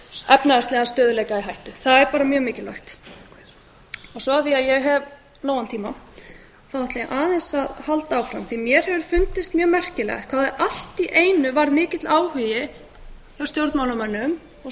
efnahagslegan stöðugleika í hættu það er mjög mikilvægt af því að ég hef nógan tíma ætla ég aðeins að halda áfram mér hefur fundist mjög merkilegt hvað allt í einu varð mikill áhugi hjá stjórnmálamönnum og